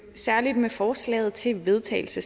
særligt med forslaget til vedtagelse